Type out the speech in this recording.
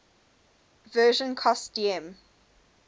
version cost dm